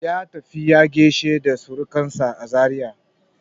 Ya tafi ya gaishe da surkansa a Zaria.